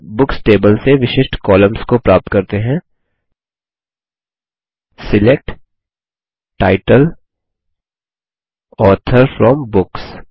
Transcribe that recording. चलिए books table से विशिष्ट कॉलम्स को प्राप्त करते हैं select title author from books